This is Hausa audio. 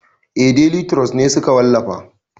Eh deli turos ne suka wallafa